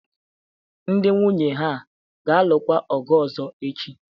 Ndị nwunye ha ga-alụkwa ọzọ echi?